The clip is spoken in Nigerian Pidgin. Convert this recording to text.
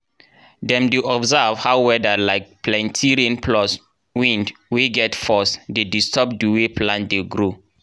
dem dey observe how weather like plenti rain plus wind wey get force dey disturb di way plant dey grow.